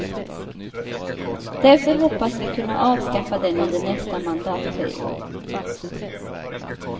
Därför hoppas vi kunna avskaffa den under nästa mandatperiod.